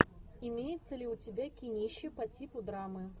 имеется ли у тебя кинище по типу драмы